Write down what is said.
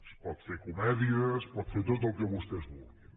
es pot fer comèdia es pot fer tot el que vostès vulguin